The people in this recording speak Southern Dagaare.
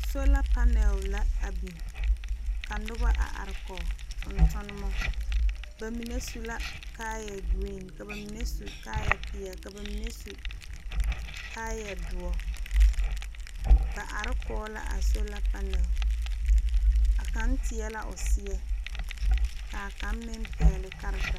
Sola panɛl la a biŋ ka nobɔ a are kɔge tontonmo ba mine su la kaayɛ green ka ba mine su kaayɛ peɛle ka ba mine su kaayɛ doɔ ba are kɔge la a sola panɛl a kaŋ teɛ la o seɛ kaa kaŋ meŋ pɛgle karetaa.